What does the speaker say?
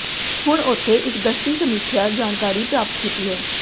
ਹੁਣ ਉੱਥੇ ਇੱਕ ਦਸਤੀ ਸਮੀਖਿਆ ਜਾਣਕਾਰੀ ਪ੍ਰਾਪਤ ਕੀਤੀ ਹੈ